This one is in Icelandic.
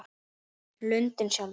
Lundinn sjálfur